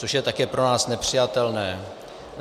Což je také pro nás nepřijatelné.